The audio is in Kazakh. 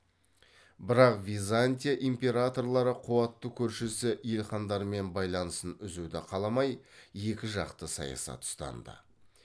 бірақ византия императорлары қуатты көршісі елхандармен байланысын үзуді қаламай екіжақты саясат ұстанды